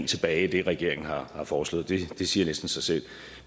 tilbage i det regeringen har foreslået det siger næsten sig selv